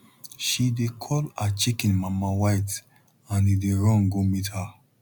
she dey call her chicken mama white and e dey run go meet her